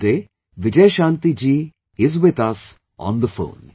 Today Vijayashanti ji is with us on the phone